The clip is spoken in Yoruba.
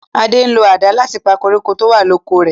Ade ń lo àdá láti pa koríko tó wà l'oko rè.